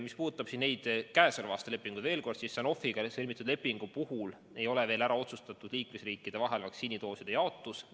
Mis puudutab käesoleva aasta lepinguid, siis Sanofiga sõlmitud lepingu puhul ei ole vaktsiinidooside jaotus liikmesriikide vahel veel ära otsustatud.